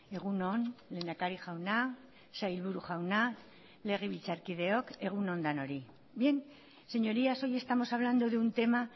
egun on lehendakari jauna sailburu jauna legebiltzarkideok egun on denoi bien señorías hoy estamos hablando de un tema